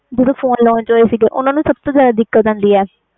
ਜਦੋ phone launch ਹੋਏ ਸੀ ਓਹਨੂੰ ਬਸ ਤੋਂ ਜਿਆਦਾ ਦਿਕਤ ਆਂਦੀ ਆ